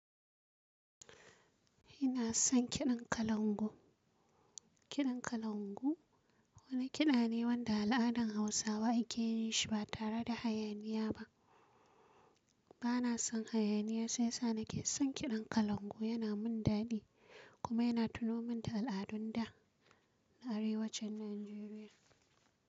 Ina son kiɗan kalangu. Kiɗan kalangu wani kiɗa ne wanda al'adan Hausawa ake yin shi ba tare da hayaniya ba. Ba na son hayaniya sai sa nake son kiɗan kalangu, yana mun daɗi kuma yana tuno min da al'adun da, na arewacin Nijeriya.